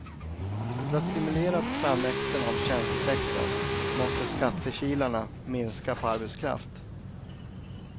För att stimulera framväxten av tjänstesektorn måste skattekilarna minska på arbetskraft.